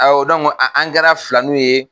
an an gɛra filaninw ye